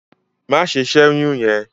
Má ṣe ṣẹ́yún yẹn!